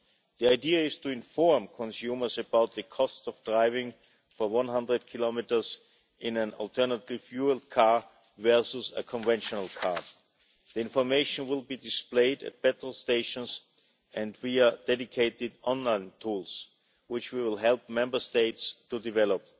The idea is to inform consumers about the cost of driving for 100 kilometres in an alternative fuel car versus a conventional car. The information will be displayed at petrol stations and via dedicated online tools, which we will help Member States to develop.